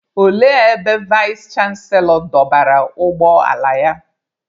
Olee ebe Vais chanselọ dọbara ụgbọ ala ya?